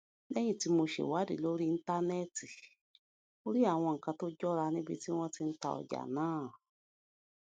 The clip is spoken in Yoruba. léyìn tí mo ṣèwádìí lórí íńtánéètì mo rí àwọn nǹkan tó jọra níbi tí wón ti ń ta ọjà náà